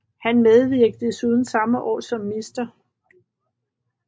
Han medvirkede desuden samme år som Mr